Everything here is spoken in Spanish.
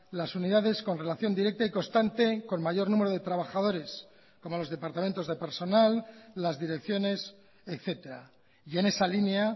las unidades con relación directa y constante con mayor número de trabajadores como los departamentos de personal las direcciones etcétera y en esa línea